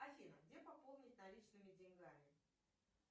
афина где пополнить наличными деньгами